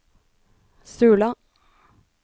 Sula